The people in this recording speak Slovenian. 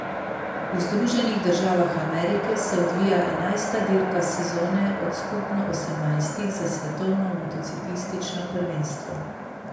V Združenih državah Amerike se odvija enajsta dirka sezone od skupno osemnajstih za svetovno motociklistično prvenstvo.